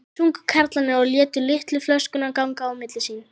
sungu karlarnir og létu litlu flöskuna ganga á milli sín.